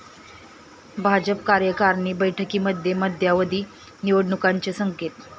भाजप कार्यकारणी बैठकीमध्ये मध्यावधी निवडणुकांचे संकेत